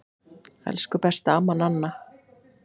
Elsku besta amma Nanna.